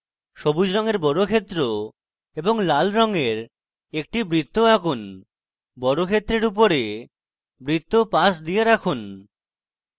সবুজ রঙের বর্গক্ষেত্র এবং লাল রঙের একটি বৃত্ত আঁকুন বর্গক্ষেত্রের উপরে বৃত্ত পাশ দিয়ে রাখুন